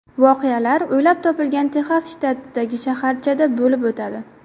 Voqealar o‘ylab topilgan Texas shtatidagi shaharchada bo‘lib o‘tadi.